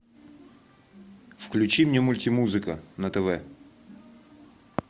включи мне мультимузыка на тв